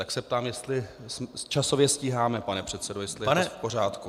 Tak se ptám, jestli časově stíháme, pane předsedo, jestli je to v pořádku.